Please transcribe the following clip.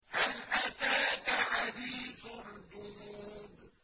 هَلْ أَتَاكَ حَدِيثُ الْجُنُودِ